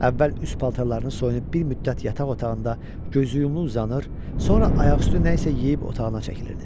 Əvvəl üst paltarlarını soyunub bir müddət yataq otağında gözü yumulu uzanır, sonra ayaq üstü nə isə yeyib otağına çəkilirdi.